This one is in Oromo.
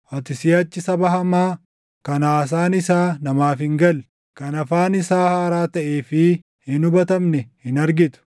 Ati siʼachi saba hamaa, kan haasaan isaa namaaf hin galle, kan afaan isaa haaraa taʼee fi hin hubatamne hin argitu.